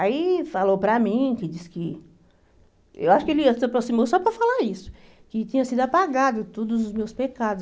Aí falou para mim, que disse que, eu acho que ele se aproximou só para falar isso, que tinha sido apagado todos os meus pecados.